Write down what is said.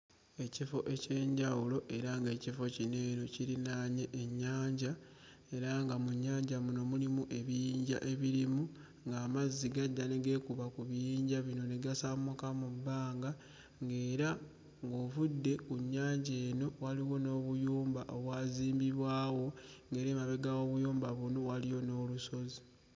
Ekifo eky'enjawulo era ng'ekifo kino eno kirinaanye ennyanja era nga mu nnyanja muno mulimu ebiyinja ebirimu ng'amazzi gajja ne geekuba ku biyinja bino ne gasammuka mu bbanga, ng'era ng'ovudde ku nnyanja eno waliwo n'obuyumba obwazimbibwawo ng'era emabega w'obuyumba buno waliyo n'olusozi.